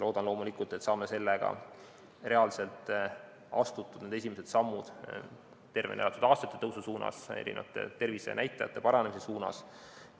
Loodan loomulikult, et saame sellega reaalselt astutud esimesed sammud tervena elatud aastate tõusu ja tervisenäitajate paranemise suunas.